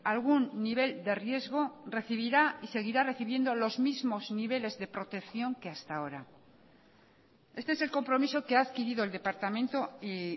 algún nivel de riesgo recibirá y seguirá recibiendo los mismos niveles de protección que hasta ahora este es el compromiso que ha adquirido el departamento y